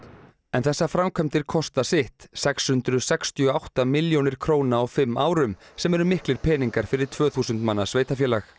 en þessar framkvæmdir kosta sitt sex hundruð sextíu og átta milljónir króna á fimm árum sem eru miklir peningar fyrir tvö þúsund manna sveitarfélag